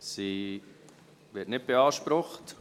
Sie wird nicht beansprucht.